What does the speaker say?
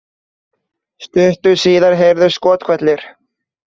Stuttu síðar heyrðust skothvellir